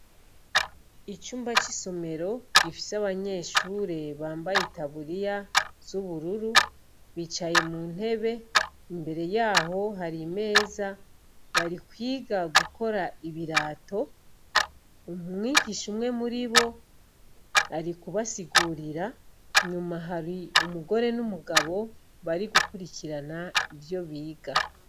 Icumba c'isomero gifise abanyeshure bambaye itaburiya z'ubururu bicaye mu ntebe, imbere yaho hari imeza, bari kwiga gukora ibirato, umwigisha umwe muri bo ari kubasigurira, nyuma hari umugore n'umugabo bari gukurikirana ivyo biga.